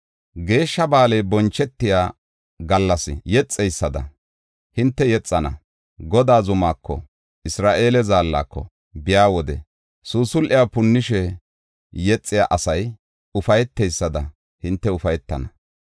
Geeshsha ba7aaley bonchetiya gallas yexeysada, hinte yexana. Godaa zumako, Isra7eele Zaallako biya wode suusul7e punnishe yexiya asay ufayteysada hinte ufaytana.